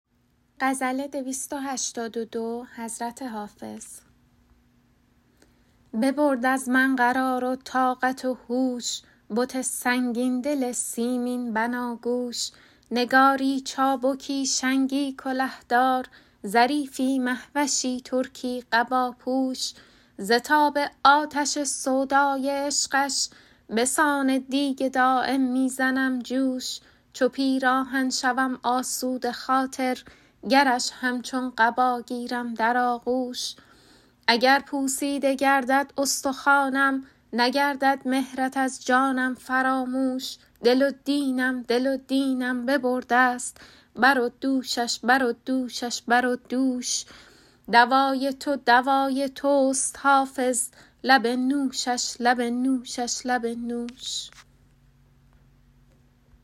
ببرد از من قرار و طاقت و هوش بت سنگین دل سیمین بناگوش نگاری چابکی شنگی کله دار ظریفی مه وشی ترکی قباپوش ز تاب آتش سودای عشقش به سان دیگ دایم می زنم جوش چو پیراهن شوم آسوده خاطر گرش همچون قبا گیرم در آغوش اگر پوسیده گردد استخوانم نگردد مهرت از جانم فراموش دل و دینم دل و دینم ببرده ست بر و دوشش بر و دوشش بر و دوش دوای تو دوای توست حافظ لب نوشش لب نوشش لب نوش